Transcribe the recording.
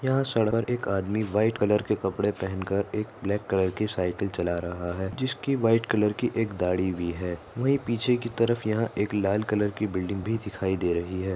यहा सड़क पर एक आदमी व्हाइट कलर के कपड़े पहन कर एक ब्लाक कलर की सायकल चला रहा है जिसकी व्हाइट कलर की एक दाड़ी भी है वही पीछे की तरफ यहा एक लाल कलर की बिल्डिंग भी दिखाई दे रहि है।